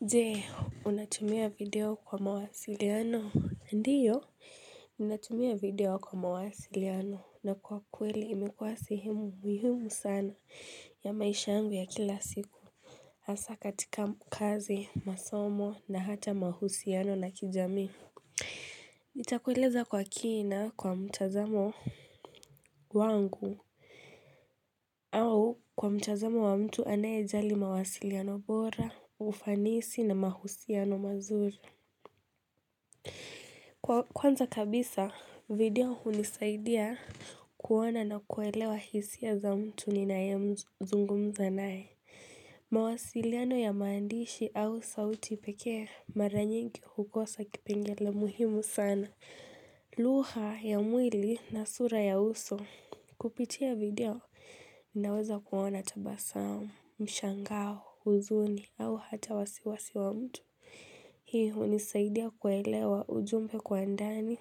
Jee, unatumia video kwa mawasiliano? Ndiyo, ninatumia video kwa mawasiliano na kwa kweli imekuwa sihemu muhimu sana ya maisha yangu ya kila siku. Haswa katika kazi, masomo na hata mahusiano na kijamii. Nitakweleza kwa kina kwa mtazamo wangu au kwa mtazamo wa mtu anayejali mawasiliano bora, ufanisi na mahusiano mazuri. Kwanza kabisa, video hunisaidia kuona na kuelewa hisia aa za mtu ninaye zungumza naye. Mawasiliano ya maandishi au sauti pekee mara nyingi hukosa kipengele muhimu sana. Lugha ya mwili na sura ya uso. Kupitia video, naweza kuona tabasamu, mshangao, huzuni au hata wasiwasi wa mtu. Hii hunisaidia kuelewa ujumbe kwa ndani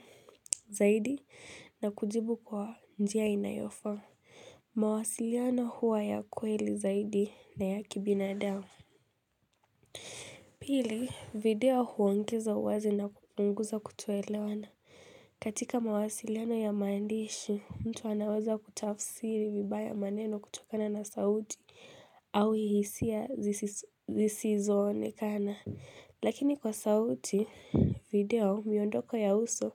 zaidi na kujibu kwa njia inayofa. Mawasiliano huwa ya kweli zaidi na ya kibinadamu. Pili, video huongeza uwazi na kupunguza kutoelewana. Katika mawasiliano ya maandishi, mtu anaweza kutafsiri vibaya maneno kutokana na sauti au hisia zisizo onekana. Lakini kwa sauti, video miondoko ya uso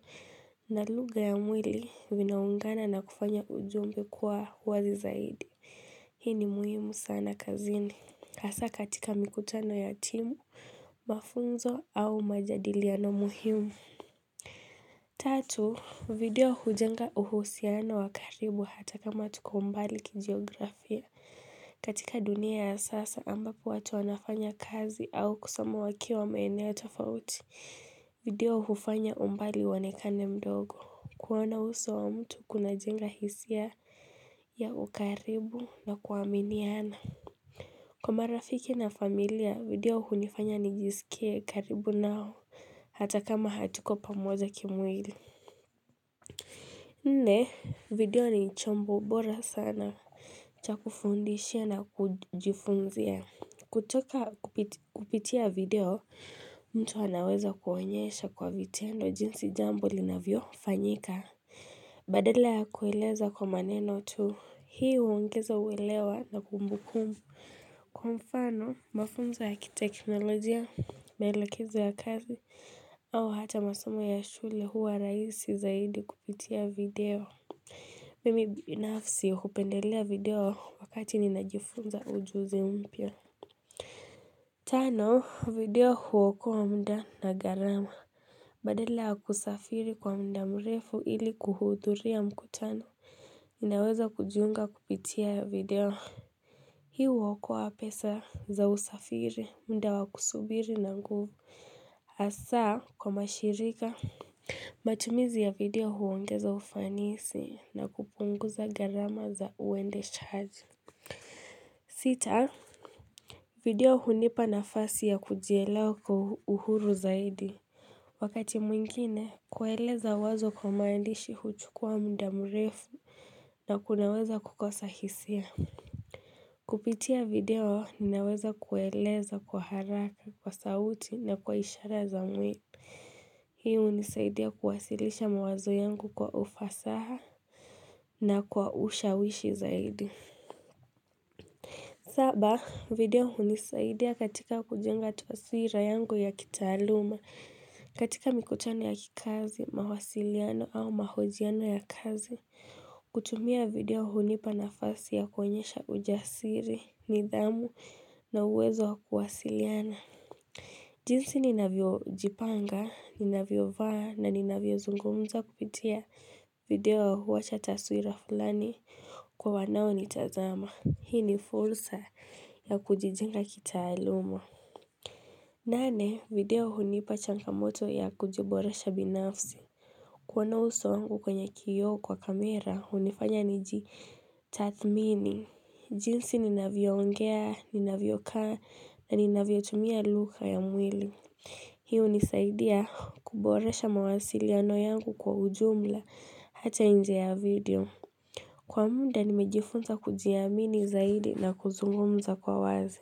na lugha ya mwili vinaungana na kufanya ujumbe kuwa wazi zaidi. Hii ni muhimu sana kazini, hasa katika mikutano ya timu, mafunzo au majadiliano muhimu. Tatu, video hujenga uhusiano wa karibu hata kama tuko mbali kijiografia. Katika dunia ya sasa ambapo watu wanafanya kazi au kusoma wakiwa maeneo tofauti video hufanya umbali uonekane mdogo. Kuona uso wa mtu kunajenga hisia ya ukaribu na kuaminiana Kwa marafiki na familia video hunifanya nijisikie karibu nao Hata kama hatuko pamoja kimwili. Nne, video ni chombo bora sana cha kufundisha na kujifunzia. Kutoka kupitia video mtu anaweza kuonyesha kwa vitendo jinsi jambo linavyofanyika Badala ya kueleza kwa maneno tu, hii huongeza uelewa na kumbukumbu. Kwa mfano mafunzo ya kiteknolojia, maelekezo ya kazi, au hata masomo ya shule huwa rahisi zaidi kupitia video. Mimi binafsi hupendelea video wakati ninajifunza ujuzi mpya Tano, video huokoa muda na gharama. Badala ya kusafiri kwa muda mrefu ili kuhudhuria mkutano Ninaweza kujiunga kupitia video. Hii huokoa pesa za usafiri, muda wa kusubiri na nguvu kwa mashirika matumizi ya video huongeza ufanisi na kupunguza gharama za uendeshaji Sita video hunipa nafasi ya kujielewa kwa uhuru zaidi. Wakati mwingine, kueleza wazo kwa maandishi huchukua muda mrefu na kunaweza kukosa hisia. Kupitia video, ninaweza kueleza kwa haraka, kwa sauti na kwa ishara za mwili. Hi hunisaidia kuwasilisha mawazo yangu kwa ufasaha na kwa ushawishi zaidi. Saba video hunisaidia katika kujenga taswira yangu ya kitaaluma katika mikotano ya kikazi, mawasiliano au mahojiano ya kazi. Kutumia video hunipa nafasi ya kuonyesha ujasiri, nidhamu na uwezo kuwasiliana. Jinsi ninavyo jipanga, ninavyo vaa na ninavyo zungumza kupitia video huwacha taswira fulani kwa wanao nitazama. Hii ni fursa ya kujijenga kitaaluma. Nane, video hunipa changamoto ya kujiboresha binafsi. Kuona uso wangu kwenye kio kwa kamera, hunifanya nijitathmini. Jinsi ninavyo ongea, ninavyo kaa, na ninavyo tumia lugha ya mwili. Hi hunisaidia kuboresha mawasiliano yangu kwa ujumla hata nje video. Kwa muda nimejifunza kujiamini zaidi na kuzungumza kwa wazi.